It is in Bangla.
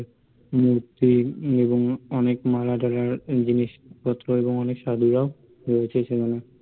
উম তে এবং অনেক মালা টালার জিনিস পত্র এবং অনেক সাধুরাও রয়েছে সেখানে